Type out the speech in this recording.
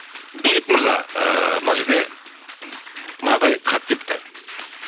бейбіт мырза ыыы мына жерде мынадай хат келіпті